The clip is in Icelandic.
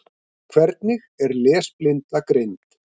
Hvernig er lesblinda greind?